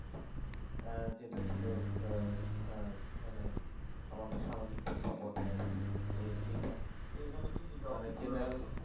যেটা ছিল আহ মানে আমাদের সামাজিক প্রেক্ষাপটে আর কি এইটা